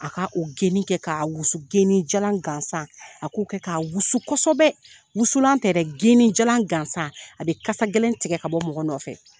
A k' o geni kɛ k'a wusu geni jalan gansan a k'o kɛ wusu kosɔbɛ wusulan tɛ dɛ geni jalan gansan a bɛ kasa gɛlɛn tigɛ ka bɔ mɔgɔ nɔfɛ